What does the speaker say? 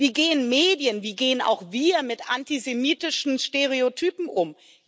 Wie gehen Medien, wie gehen auch wir mit antisemitischen Stereotypen um?